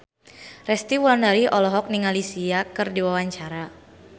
Resty Wulandari olohok ningali Sia keur diwawancara